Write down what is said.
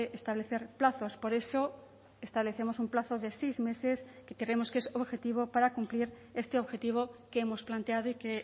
establecer plazos por eso establecemos un plazo de seis meses que creemos que es objetivo para cumplir este objetivo que hemos planteado y que